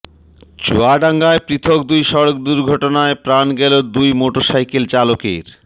চুয়াডাঙ্গায় পৃথক দুই সড়ক দুর্ঘটনায় প্রাণ গেল দুই মোটরসাইকেল চালকের